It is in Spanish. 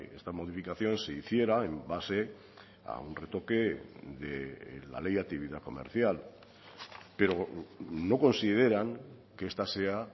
esta modificación se hiciera en base a un retoque de la ley de actividad comercial pero no consideran que esta sea